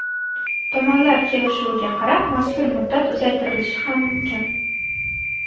Tomonlar kelishuviga qarab mazkur muddat uzaytirilishi ham mumkin.